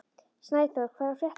Snæþór, hvað er að frétta?